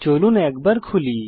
চলুন একবার খুলি